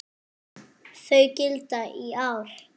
Þau gilda í ár.